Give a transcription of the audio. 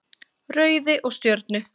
Rauði og Stjörnu.